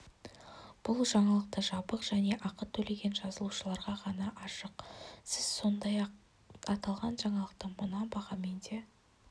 бұл жаңалық жабық және ақы төлеген жазылушыларға ғана ашық сіз сондай-ақ аталған жаңалықты мына бағамен де